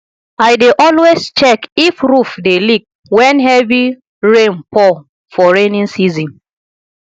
i dey always check if roof dey leak wen heavy rain pour for rainy season